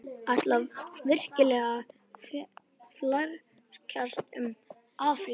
Ætlarðu virkilega að flækjast um Afríku?